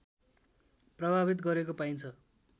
प्रभावित गरेको पाइन्छ